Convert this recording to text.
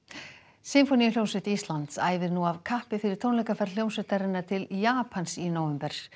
sinfóníuhljómsveit Íslands æfir nú af kappi fyrir tónleikaferð hljómsveitarinnar til Japans í nóvember